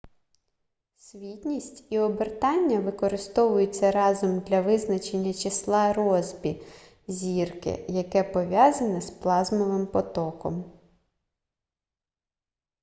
світність і обертання використовуються разом для визначення числа россбі зірки яке пов'язане з плазмовим потоком